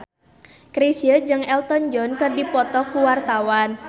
Chrisye jeung Elton John keur dipoto ku wartawan